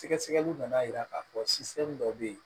Sɛgɛsɛgɛliw nana yira k'a fɔ dɔ bɛ yen